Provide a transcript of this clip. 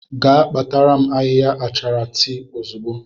Jee kpatara m ahịhịa achara tii ozugbo!